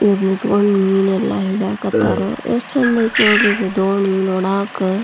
ಇವರು ನಿಂತುಕೊಂಡು ಮೀನಾ ಎಲ್ಲಾ ಹಿಡಿಯಕತರ ಎಷ್ಟು ಚಂದ್ ಐತೆ ನೋಡ್ರಿ ದೋಣಿ ನೋಡಕ್ಕೆ --